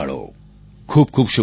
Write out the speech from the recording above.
ખૂબખૂબ શુભકામનાઓ